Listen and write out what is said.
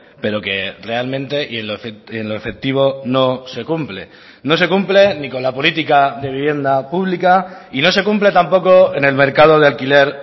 pero que realmente y en lo efectivo no se cumple no se cumple ni con la política de vivienda pública y no se cumple tampoco en el mercado de alquiler